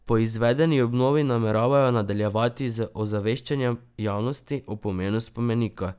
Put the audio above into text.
Po izvedeni obnovi nameravajo nadaljevati z ozaveščanjem javnosti o pomenu spomenika.